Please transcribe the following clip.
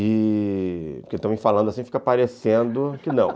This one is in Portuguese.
E... Porque também falando assim fica parecendo que não